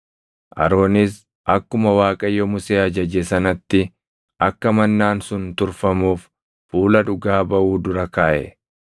Aroonis akkuma Waaqayyo Musee ajaje sanatti akka mannaan sun turfamuuf fuula Dhugaa Baʼuu dura kaaʼe.